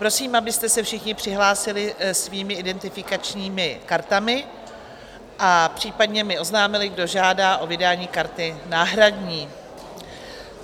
Prosím, abyste se všichni přihlásili svými identifikačními kartami a případně mi oznámili, kdo žádá o vydání karty náhradní.